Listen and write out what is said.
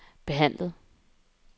behandlet